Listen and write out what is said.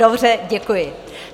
Dobře, děkuji.